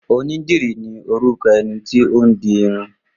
Onídìrí ni orúkọ ẹni tí ó ń di irun